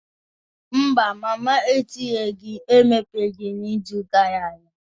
Mba, mama etinyeghị emeghe n'izu gara aga.